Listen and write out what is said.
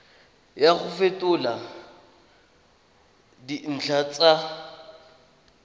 ya go fetola dintlha tsa